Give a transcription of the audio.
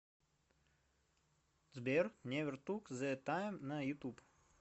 сбер невер тук зэ тайм на ютуб